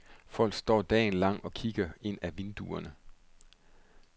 Folk står dagen lang og kigger ind af vinduerne.